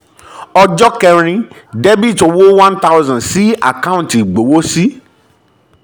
ọjọ́ kẹ́rin: debit owó one thousand sí àkáǹtì ìgbowósí